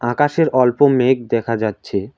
আকাশের অল্প মেঘ দেখা যাচ্ছে।